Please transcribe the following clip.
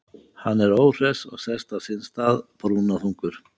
Hann er óhress og sest á sinn stað, brúnaþungur.